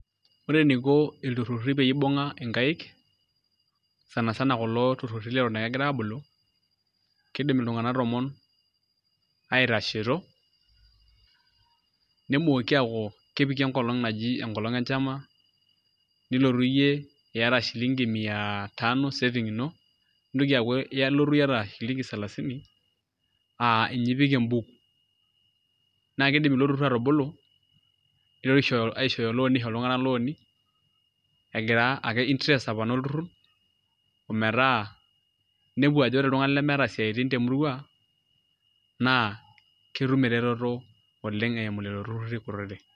Ore eniko ilturruri pee ibung'a inkaik sana sana tekulo turruri leton aa ekegira aabulu kiidim iltung'anak tomon aiatashito nemooki aaku keoiki enkolong' e enchama, nilotu iyie iyata shilingi mia tano saving ino nintoki aaku iata shilingi salasini aa ninye ipik embuku naa kiidim ilo turrur atubulu nitoki aishooyo loan aisho iltung'anak looni egira ake interest apona olturrur ometaa inepu ajo ore iltung'anak lemeeta isiaitin temurua naa ketum eretoto oleng' eimu lelo turruri.